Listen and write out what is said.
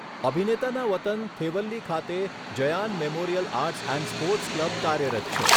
અભિનેતાનાં વતન થેવલ્લી ખાતે Jayan memorial arts and sports club કાર્યરત છે.